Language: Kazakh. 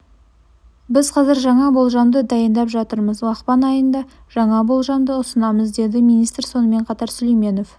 біз қазір жаңа болжамды дайындап жатырмыз ақпан айында жаңа болжамды ұсынамыз деді министр сонымен қатар сүлейменов